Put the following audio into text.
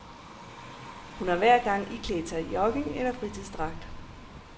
Hun har hver gang iklædt sig jogging- eller fritidsdragt.